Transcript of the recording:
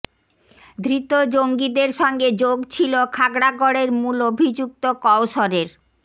ধৃত জঙ্গিদের সঙ্গে যোগ ছিল খাগড়াগড়ের মূল অভিযুক্ত কওসরের